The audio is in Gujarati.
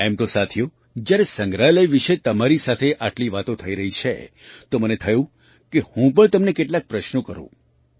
એમ તો સાથીઓ જ્યારે સંગ્રહાલય વિશે તમારી સાથે આટલી વાતો થઈ રહી છે તો મને મન થયું કે હું પણ તમને કેટલાક પ્રશ્નો કરું